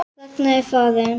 Ragna er farin.